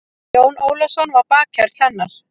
Jón Ólafsson var bakhjarl hennar.